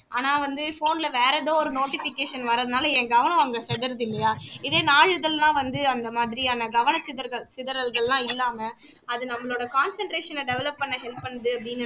ஆனா வந்து phone ல வேறே எதோ ஒரு notification வர்றதுனால என் கவனம் அங்க சிதறுது இல்லையா இதே நாளிதழ்னா வந்து அந்த மாதிரியான கவனச்சிதற்கள் சிதறல்கள் எல்லாம் இல்லாம அது நம்மளோட concentration அ develop பண்ண help பண்ணுது அப்படின்னு